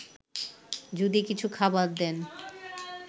যদি কিছু খাবার দেন